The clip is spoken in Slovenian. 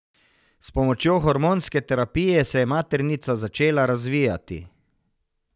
S pomočjo hormonske terapije se je maternica začela razvijati.